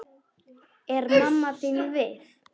Er mamma þín við?